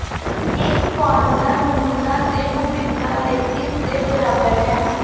ਇਹ ਫਾਰਮੂਲਾ ਨਮੂਨਾ ਦੇ ਵਿਭਿੰਨਤਾ ਲਈ ਇਸਦੇ ਬਰਾਬਰ ਹੈ